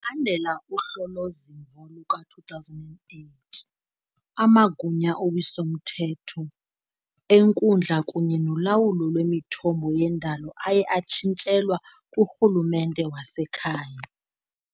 landela uhlolo-zimvo luka-2008, amagunya owiso-mthetho, enkundla kunye nolawulo lwemithombo yendalo aye atshintshelwa kurhulumente wasekhaya .